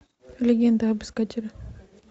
легенда об искателе